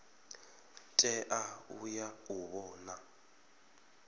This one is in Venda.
tea u ya u vhona